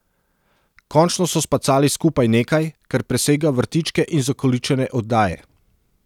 Končno so spacali skupaj nekaj, kar presega vrtičke in zakoličene oddaje.